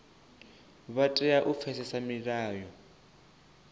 vha tea u pfesesa milayo